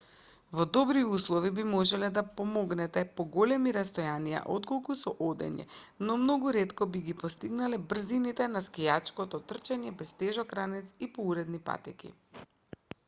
во добри услови би можеле да поминете поголеми растојанија отколку со одење но многу ретко би ги постигнале брзините на скијачко трчање без тежок ранец и по уредени патеки